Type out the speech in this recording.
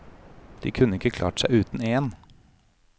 De kunne ikke klart seg uten én.